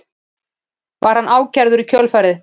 Var hann ákærður í kjölfarið